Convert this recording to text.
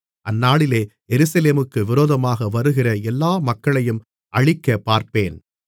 அந்நாளிலே எருசலேமுக்கு விரோதமாக வருகிற எல்லா மக்களையும் அழிக்கப் பார்ப்பேன்